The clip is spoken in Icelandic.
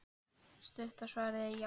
Stutta svarið er já.